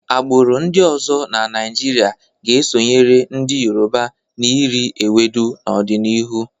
Agbụrụ ndị ọzọ na Naịjirịa ga-esonyere ndị Yoruba n'iri ewedu n'ọdịnihu.